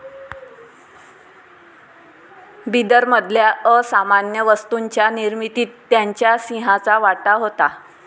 बिदरमधल्या असामान्य वस्तूंच्या निर्मितीत त्यांच्या सिंहाचा वाटा होता